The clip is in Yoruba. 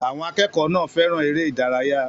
Àwọn akẹ́kọ̀ọ́ náà fẹ́ràn eré ìdárayá.